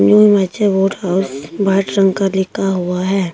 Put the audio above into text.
White रंग का लिखा हुआ है।